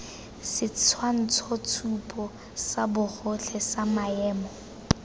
setshwantshotshupo sa bogotlhe sa maemo